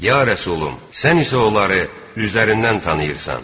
Ya Rəsulüm, sən isə onları üzlərindən tanıyırsan.